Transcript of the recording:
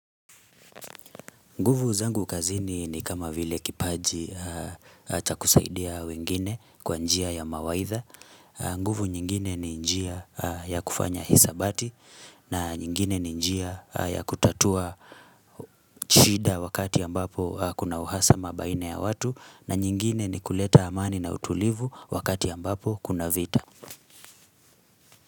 Nguvu zangu kazini ni kama vile kipaji cha kusaidia wengine kwa njia ya mawaidha. Nguvu nyingine ni njia ya kufanya hisabati na nyingine ni njia ya kutatua shida wakati ambapo kuna uhasama baina ya watu na nyingine ni kuleta amani na utulivu wakati ambapo kuna vita.